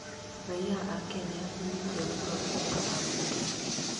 Raiya a Kenya nĩmaikia kura gũthũra ambunge